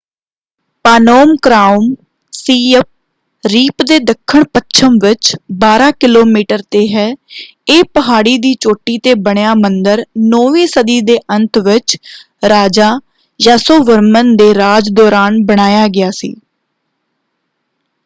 Phnom Krom Siem Reap ਦੇ ਦੱਖਣਪੱਛਮ ਵਿੱਚ 12 ਕਿਲੋਮੀਟਰ ‘ਤੇ ਹੈ। ਇਹ ਪਹਾੜੀ ਦੀ ਚੋਟੀ ‘ਤੇ ਬਣਿਆ ਮੰਦਰ 9ਵੀਂ ਸਦੀ ਦੇ ਅੰਤ ਵਿੱਚ ਰਾਜਾ ਯਾਸੋਵਰਮਨ ਦੇ ਰਾਜ ਦੌਰਾਨ ਬਣਾਇਆ ਗਿਆ ਸੀ।